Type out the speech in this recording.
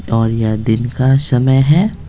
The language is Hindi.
और यह दिन का समय है--